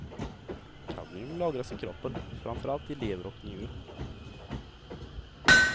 Kadmium lagras i kroppen, framför allt i lever och njure.